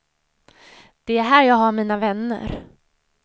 Det är här jag har mina vänner.